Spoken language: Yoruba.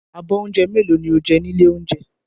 Abọ́ oúnjẹ mélòó ni ó jẹ ní ilé-oúnjẹ?